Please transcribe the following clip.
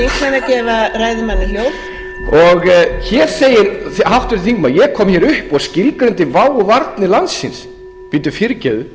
hér segir háttvirtur þingmaður ég kom hér upp og skilgreindi vá og varnir landsins bíddu fyrirgefðu